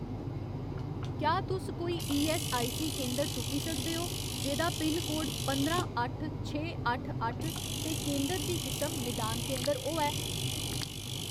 क्या तुस कोई ईऐस्सआईसी केंदर तुप्पी सकदे ओ जेह्‌दा पिनकोड पंदरां अट्ठ छे अट्ठ अट्ठ ते केंदर दी किसम निदान केंदर होऐ ?